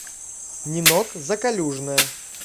нинок закалюжная